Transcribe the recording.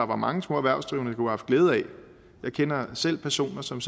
mange små erhvervsdrivende kunne have haft glæde af jeg kender selv personer som